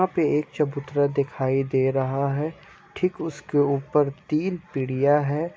यहाँ पे एक चबूतरा दिखाई दे रहा है ठीक उसके ऊपर तीन पीढ़ियां है।